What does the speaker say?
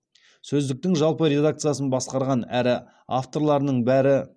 сөздіктің жалпы редакциясын басқарған әрі авторларының бәрі